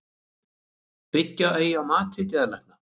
Byggja eigi á mati geðlækna